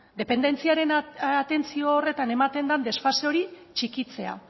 dependentziaren atentzio horretan ematen den desfase hori txikitzea